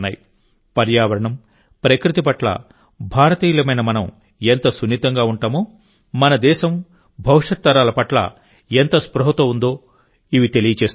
పర్యావరణం ప్రకృతి పట్ల భారతీయులమైన మనం ఎంత సున్నితంగా ఉంటామో మన దేశం భవిష్యత్ తరాల పట్ల ఎంత స్పృహతో ఉందో ఇది తెలియజేస్తుంది